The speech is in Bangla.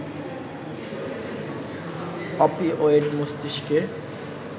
অপিওয়েড মস্তিষ্কে